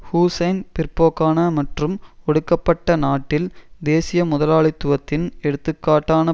ஹுசைன் பிற்போக்கான மற்றும் ஒடுக்கப்பட்ட நாட்டில் தேசிய முதலாளித்துவத்தின் எடுத்துக்காட்டான